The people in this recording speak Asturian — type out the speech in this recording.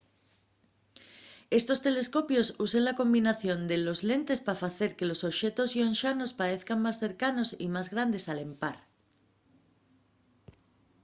estos telescopios usen una combinación de dos lentes pa facer que los oxetos llonxanos paezan más cercanos y más grandes al empar